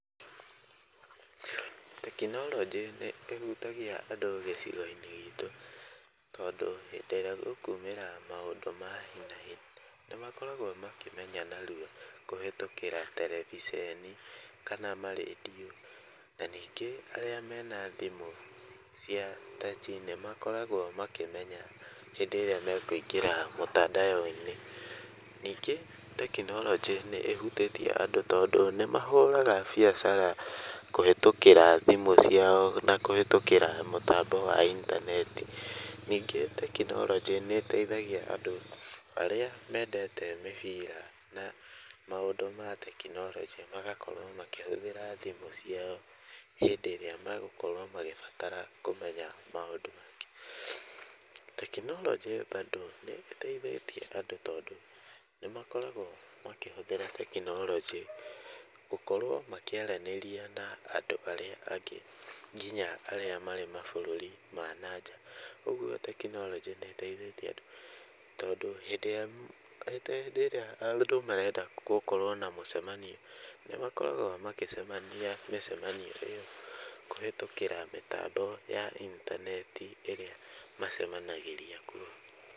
Tekinoronjĩ nĩĩhutagia andũ gĩcigo-inĩ gitũ tondũ hĩndĩ ĩrĩa gũkumĩra maũndũ ma hi na hi nĩmakoragwo makĩmenya narua kũhĩtũkĩra terebiceni kana ma redio, na ningĩ arĩa mena thimũ cia taci nĩmakoragwo makĩmenya hĩndĩ ĩrĩa mekũingĩra mũtandao-inĩ. Ningĩ tekinoronjĩ nĩĩhutĩtie andũ tondũ nĩmahũraga biacara kũhĩtũkĩra thimũ ciao na kũhĩtũkĩra mũtambo wa intaneti. Ningĩ tekinoronjĩ nĩĩteithagia andũ arĩa mendete mĩbira na maũndũ matekinoronjĩ magakorwo makĩhũthĩra thimũ ciao hĩndĩ ĩrĩa magũkorwo magĩbatara kũmenya maũndũ. Tekinoronjĩ bado nĩĩteithĩtie andũ tondũ nĩmakoragwo makĩhũthĩra tekinoronjĩ gũkorwo makĩaranĩria na andũ arĩa angĩ kinya arĩa marĩ mabũrũri ma na nja, ũguo tekinoronjĩ nĩĩteithĩtie andũ tondũ hĩndĩ ĩrĩa ta hĩndĩ ĩrĩa andũ marenda gũkorwo na mũcemanio nĩmakoragwo magĩcemania mĩcemanio ĩyo kũhĩtũkĩra mĩtambo ya intaneti ĩrĩa macemanagĩria kuo.